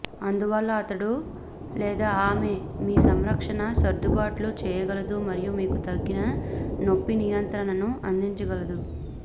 అందువల్ల అతడు లేదా ఆమె మీ సంరక్షణకు సర్దుబాట్లు చేయగలదు మరియు మీకు తగిన నొప్పి నియంత్రణను అందించగలదు